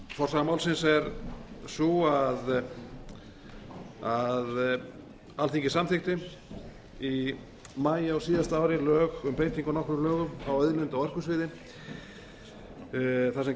forsaga málsins er sú að alþingi samþykkti í maí á síðasta ári lög um breytingu á nokkrum lögum á auðlinda og orkusviði þar sem